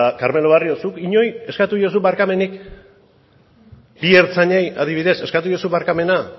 carmelo barrio zuk inori eskatu diozu barkamenik bi ertzainei adibidez eskatu diezu barkamena